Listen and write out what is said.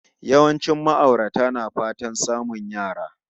Yawancin ma'aurata na fatan samun yara